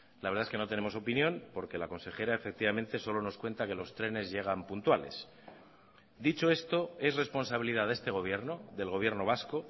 la verdad es que no tenemos opinión porque la consejera efectivamente solo nos cuenta que los trenes llegan puntuales dicho esto es responsabilidad de este gobierno del gobierno vasco